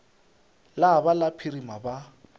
la ba la phirima ba